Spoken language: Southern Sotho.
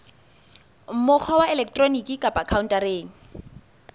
mokgwa wa elektroniki kapa khaontareng